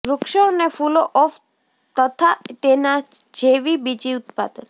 વૃક્ષો અને ફૂલો ઓફ તથાં તેનાં જેવી બીજી ઉત્પાદન